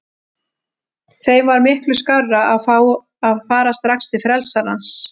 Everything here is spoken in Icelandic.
Þeim var miklu skárra að fá að fara strax til frelsarans.